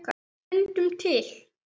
Fundum til.